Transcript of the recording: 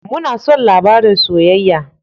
Muna son labarin soyayya.